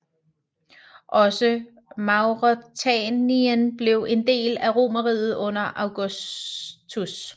Også Mauretanien blev en del af Romerriget under Augustus